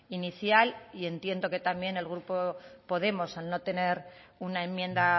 inicial y entiendo que también el grupo podemos al no tener una enmienda